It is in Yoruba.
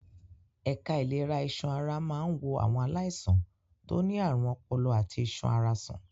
Ẹ̀ka ìlera iṣan ara máa ń wo àwọn aláìsàn tó ní àrùn ọpọlọ àti iṣan ara sàn.